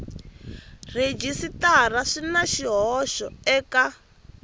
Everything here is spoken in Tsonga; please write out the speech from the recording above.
rhejisitara swi na swihoxo eka